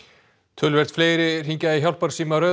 töluvert fleiri hringja í hjálparsíma Rauða